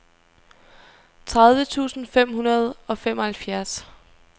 tredive tusind fem hundrede og femoghalvfjerds